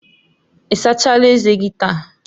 Ị asachala ezé gị taa?